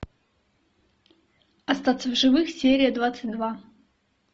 остаться в живых серия двадцать два